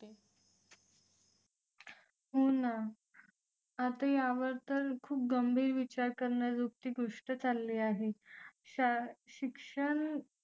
हो ना आता यावर तर खूप गंभीर विचार करण्याजोगती गोष्ट चालली आहे शाळा शिक्षण